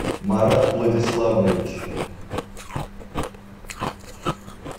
марат владиславович